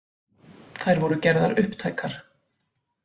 Þær voru gerðar upptækar